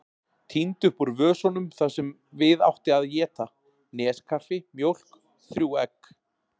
Tíndi upp úr vösunum það sem við átti að éta: neskaffi, mjólk, þrjú egg.